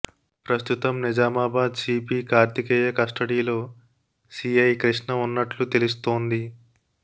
ప్రస్తుతం నిజామాబాద్ సిపి కార్తికేయ కస్టడీలో సిఐ కృష్ణ ఉన్నట్లు తెలుస్తోంది